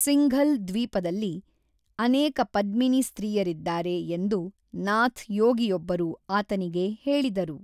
ಸಿಂಘಲ್ ದ್ವೀಪದಲ್ಲಿ ಅನೇಕ ಪದ್ಮಿನಿ ಸ್ತ್ರೀಯರಿದ್ದಾರೆ ಎಂದು ನಾಥ್ ಯೋಗಿಯೊಬ್ಬರು ಆತನಿಗೆ ಹೇಳಿದರು.